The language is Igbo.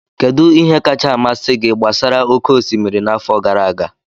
Kedu ihe kacha amasị gị gbasara oke osimiri n'afọ gara aga?